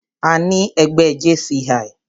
Àní ẹgbẹ́ JCI.